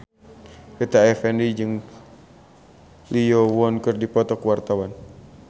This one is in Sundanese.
Rita Effendy jeung Lee Yo Won keur dipoto ku wartawan